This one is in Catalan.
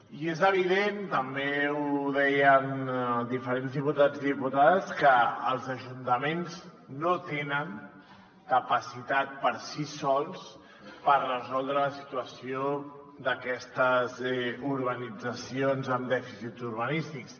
i és evident també ho deien diferents diputats i diputades que els ajuntaments no tenen capacitat per si sols per resoldre la situació d’aquestes d’urbanitzacions amb dèficits urbanístics